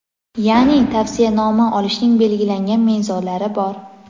Ya’ni, tavsiyanoma olishning belgilangan mezonlari bor.